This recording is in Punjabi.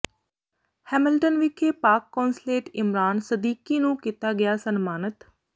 ਹੈਮਿਲਟਨ ਵਿਖੇ ਪਾਕਿ ਕੌਂਸਲੇਟ ਇਮਰਾਨ ਸਦੀਕੀ ਨੂੰ ਕੀਤਾ ਗਿਆ ਸਨਮਾਨਿਤ